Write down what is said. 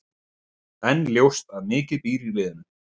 En ljóst að mikið býr í liðinu.